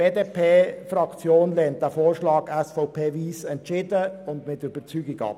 Die BDP-Fraktion lehnt den Antrag SVP/Wyss entschieden und mit Überzeugung ab.